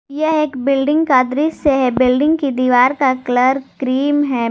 यह एक बिल्डिंग का दृश्य है बिल्डिंग की दीवार का कलर क्रीम है।